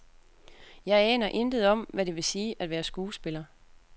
Jeg aner intet om, hvad det vil sige at være skuespiller.